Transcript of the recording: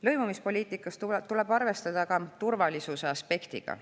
Lõimumispoliitikas tuleb arvestada ka turvalisuse aspektiga.